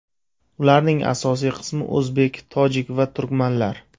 Ularning asosiy qismi o‘zbek, tojik va turkmanlar.